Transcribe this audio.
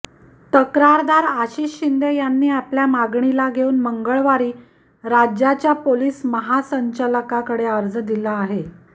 तक्रारदार आशिष शिंदे यांनी आपल्या मागणीला घेऊन मंगळवारी राज्याच्या पोलीस महासंचालकांकडे अर्ज दिला आहे